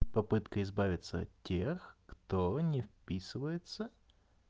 попытка избавиться от тех кто не вписывается